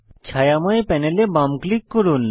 ছায়াময় প্যানেলে বাম ক্লিক করুন